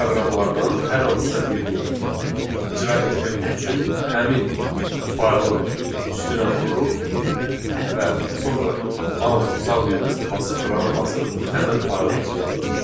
Bu proqramlardan hər hansısa birini icra etmək üçün həmin faylın üstünə vururuq və sonra mausun sağ düyməsini basıb rannı basırıq, həmin faylı icra edirik.